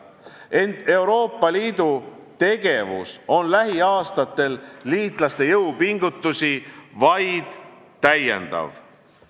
Ent Euroopa Liidu tegevus on lähiaastatel liitlaste jõupingutusi vaid täiendav.